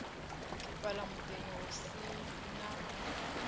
fhala mudini hu si na